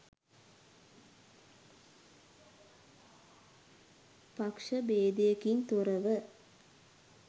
පක්ෂ බේදයකින් තොරව